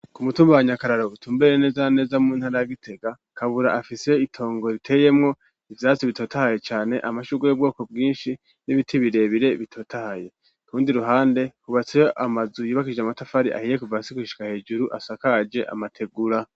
ku mutumba wa nyakararo utumbereye neza na neza mu ntara ya Gitega, kabura afise itongo riteyemwo ivyatsi bitotahaye cane , amashugwe y'ubwoko bwinshi n'ibiti birebire bitotahaye , kurundi ruhande hubatseyo amazu yubakishije amatafari ahiye kuva hasi gushika hejuru, asakaje amategura.